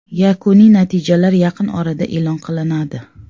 Yakuniy natijalar yaqin orada e’lon qilinadi.